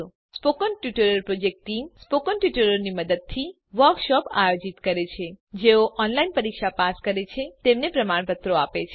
spoken tutorial project team spoken ટ્યુટોરીયલોનાં મદદથી વર્કશોપોનું આયોજન કરે છે જેઓ ઓનલાઈન પરીક્ષા પાસ કરે છે તેમને પ્રમાણપત્રો આપે છે